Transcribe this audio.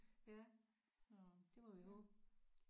Ja det må vi håbe